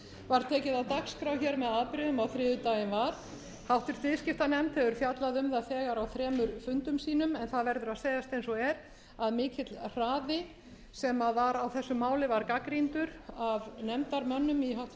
var tekið á dagskrá hér með afbrigðum á þriðjudaginn var háttvirtur viðskiptanefnd hefur fjallað um það þegar á þremur fundum sínum en það verður að segjast eins og er að mikill hraði sem var á þessu máli var gagnrýndur af nefndarmönnum í háttvirtri